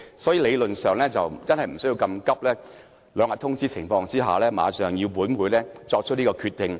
所以，理論上不需要這麼趕急，只是提前兩天通知便要本會作出決定。